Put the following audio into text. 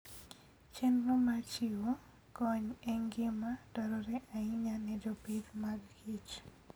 Chenro mar chiwo kony en gima dwarore ahinya ne jopith magkich.